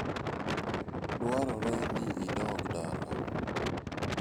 Dwarore ni idog dala.